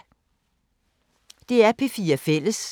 DR P4 Fælles